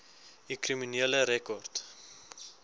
u kriminele rekord